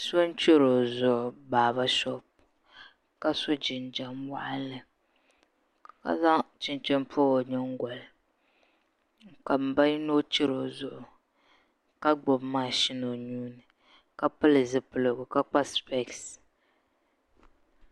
So n chɛri o zuɣu baaba shoop ka so jinjɛm waɣanli ka zaŋ chinchin n pobi o nyingoli ka n ba yino chɛri o zuɣu ka gbubi mashin o nuuni ka pili zipiligu ka kpa spees